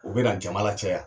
O bɛna jama la caya.